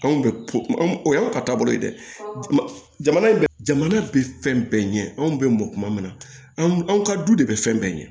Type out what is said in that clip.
Anw bɛ anw o y'anw ka taabolo ye dɛ jamana in jamana bɛ fɛn bɛɛ ɲɛ anw bɛ mɔn kuma min na anw ka du de bɛ fɛn bɛɛ ɲɛ